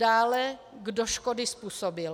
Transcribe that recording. Dále kdo škody způsobil.